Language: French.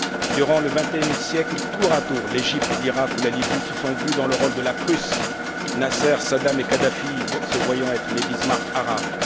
Durant le vingtième siècle, tour à tour, l'Égypte, l'Irak ou la Libye se sont vus dans le rôle de la Prusse, Nasser, Saddam et Kadhafi se voyant être les Bismarck